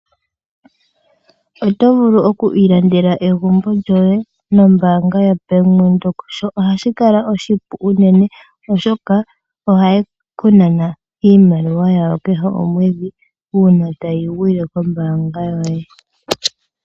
Oto vulu oku ilandela egumbo lyoye nombanga ya bank windhoek ohashi kala oshipu unene oshoka ohaye ku nana iimaliwa yawo kehe omwedhi uuna tayi gwile kombanga yoye.